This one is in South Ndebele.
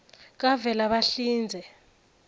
kavelabahlinze